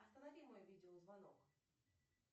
останови мой видеозвонок